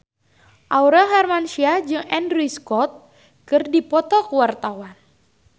Aurel Hermansyah jeung Andrew Scott keur dipoto ku wartawan